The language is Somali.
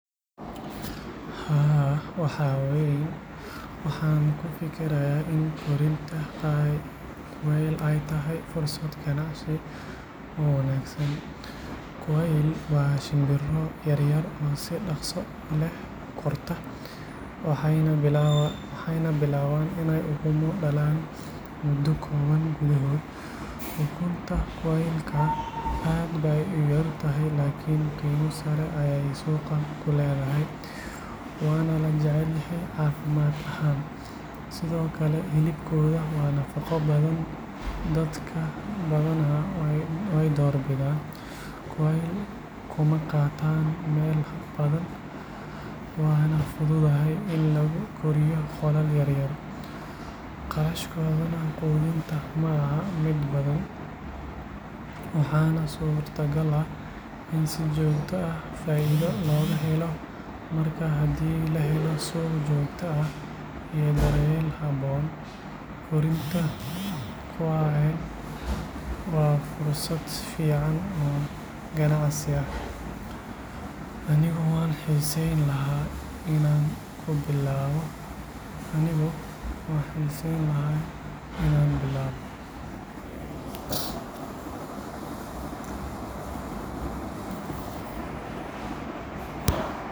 Haa, waxaan ku fikirayaa in korinta quail ay tahay fursad ganacsi oo wanaagsan. Quail waa shimbiro yaryar oo si dhaqso leh u korta, waxayna bilaabaan in ay ukumo dhalaan muddo kooban gudaheed. Ukunta quail-ka aad bay u yar tahay laakiin qiimo sare ayay suuqa ku leedahay, waana la jecel yahay caafimaad ahaan. Sidoo kale, hilibkooda waa nafaqo badan, dad badanna way door bidaan. Quail kuma qaataan meel badan, waana fududahay in lagu koriyo qolal yar yar. Kharashkooda quudinta ma aha mid badan, waxaana suurtagal ah in si joogto ah faa’iido looga helo. Marka haddii la helo suuq joogto ah iyo daryeel habboon, korinta quail waa fursad fiican oo ganacsi. Anigu waan xiisayn lahaa inaan ku bilaabo.